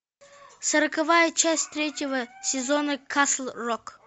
сороковая часть третьего сезона касл рок